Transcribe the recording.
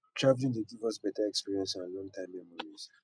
traveling dey give us better experience and long time memories